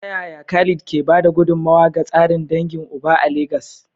Ta yaya Khalid ke ba da gudummawa ga tsarin dangin uba a Legas?